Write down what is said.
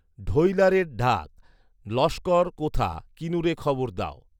ঢৈলারে ডাক, লস্কর কোথা, কিনুরে খবর দাও